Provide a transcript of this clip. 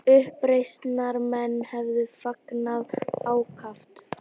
Uppreisnarmenn hefðu fagnað ákaft